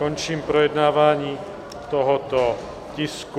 Končím projednávání tohoto tisku.